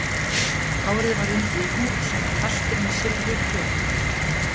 Hárið var undið í hnút sem var festur með silfurprjónum